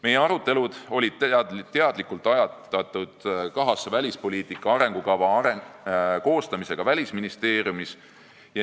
Meie arutelud olid teadlikult ajatatud kahasse välispoliitika arengukava koostamisega Välisministeeriumis.